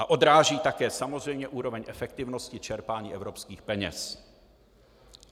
A odráží také samozřejmě úroveň efektivnosti čerpání evropských peněz.